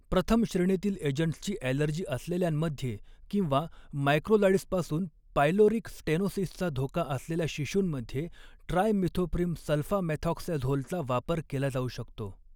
प्रथम श्रेणीतील एजंट्सची ऍलर्जी असलेल्यांमध्ये किंवा मॅक्रोलाइड्सपासून पायलोरिक स्टेनोसिसचा धोका असलेल्या शिशुंमध्ये ट्रायमिथोप्रिम सल्फामेथॉक्सॅझोलचा वापर केला जाऊ शकतो.